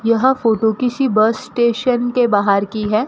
यह फोटो किसी bus station के बाहर की है।